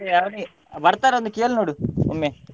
ಬರ್ತಾರಾ ಅಂತ ಕೇಳ್ನೋಡು ಒಮ್ಮೆ?